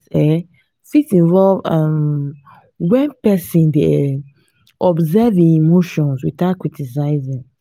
mindfulness um fit involve um when person dey um observe im emotions without criticizing